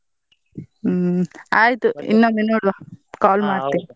ಹ್ಮ್, ಆಯ್ತು ಇನ್ನೊಮ್ಮೆ ನೋಡುವ call .